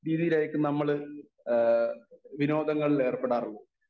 Speaker 1 രീതിയിൽ ആയിരിക്കും നമ്മള് ഏഹ് വിനോദങ്ങളിൽ ഏർപ്പെടാറുള്ളത്.